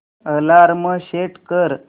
alarm set कर